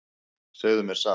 Segðu mér satt.